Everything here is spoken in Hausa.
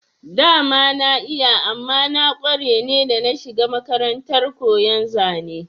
Dama na iya amma na kware ne da na shiga makarantar koyon zane